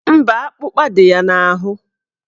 Mba, akpụkpa dị ya n'ahụ